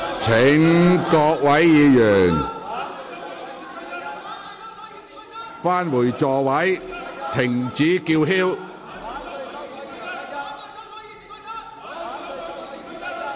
請各位議員返回座位，停止叫喊。